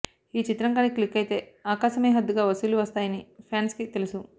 ఈ చిత్రం కానీ క్లిక్ అయితే ఆకాశమే హద్దుగా వసూళ్లు వస్తాయని ఫాన్స్కి తెలుసు